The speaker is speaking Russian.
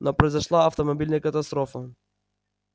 но произошла автомобильная катастрофа